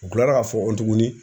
U kilara k'a fɔ nkɔtuguni.